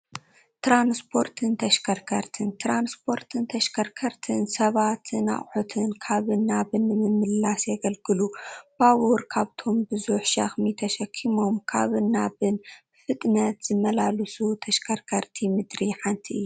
ትራንስፖርትን ተሽከርከርትን-ትራንስፖርትን ተሽከርከርትን ሰባትን ኣቑሑን ካብን ናብን ንምምልላስ የግልግሉ፡፡ ባቡር ካብቶም ብዙሕ ሸኽሚ ተሸኪሞም ካብን ናብን ብፍጥነት ዝመላልሱ ተሽከርከርቲ ምድሪ ሓንቲ እያ ፡፡